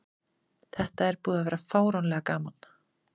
Þetta er búið að vera fáránlega gaman.